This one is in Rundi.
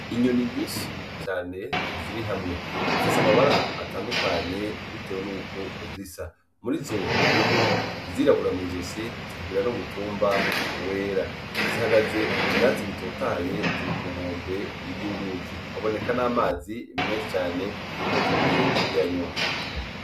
Inyoni nyinshi cane ziri hamwe, zifise amabara atandukanye bitewe nuko zisa, murizo harimwo izirabura mw'izosi zikagira n'umutumba wera, zihagaze mu vyatsi bitotahaye ziri ku nkombe y'uruzi, haboneka n'amazi menshi cane nkaho zigiye kuyanywa.